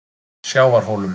Sjávarhólum